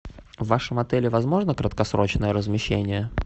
в вашем отеле возможно краткосрочное размещение